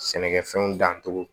Sɛnɛkɛfɛnw dancogo